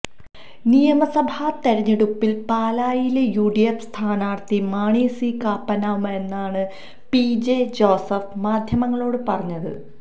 നിയമസഭാതെരഞ്ഞെടുപ്പില് പാലായിലെ യുഡിഎഫ് സ്ഥാനാര്ത്ഥി മാണി സി കാപ്പനാകുമെന്നാണ് പിജെ ജോസഫ് മാധ്യമങ്ങളോട് പറഞ്ഞത്